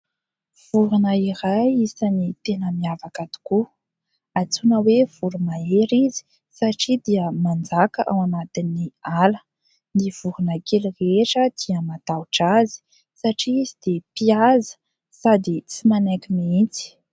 Vorona iray isan'ny tena miavaka tokoa. Antsoina hoe voro-mahery izy satria dia manjaka ao anatin'ny ala. Ny vorona kely rehetra dia matahotra azy, satria izy dia mpihaza sady tsy manaiky mihitsy.